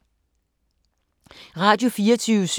Radio24syv